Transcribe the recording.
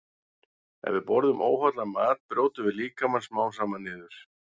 Ef við borðum óhollan mat brjótum við líkamann smám saman niður.